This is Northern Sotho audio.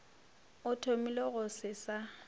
a thomile go se sa